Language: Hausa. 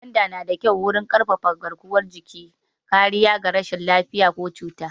Gwanda na da kyau wurin ƙarfafa garkuwan jiki, kariya ga rashin lafiya da cututtuka.